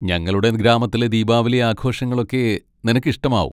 ഞങ്ങളുടെ ഗ്രാമത്തിലെ ദീപാവലി ആഘോഷങ്ങളൊക്കെ നിനക്ക് ഇഷ്ടമാവും.